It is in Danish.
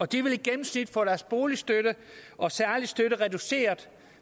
de vil i gennemsnit få deres boligstøtte og særlige støtte reduceret